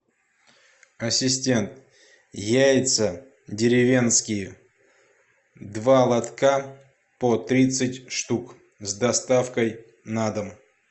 ассистент яйца деревенские два лотка по тридцать штук с доставкой на дом